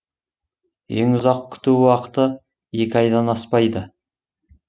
ең ұзақ күту уақыты екі айдан аспайды